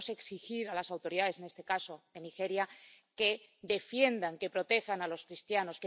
Debemos exigir a las autoridades, en este caso de Nigeria, que defiendan, que protejan a los cristianos.